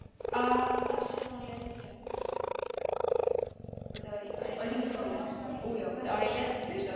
Af þessu má lesa tvennt.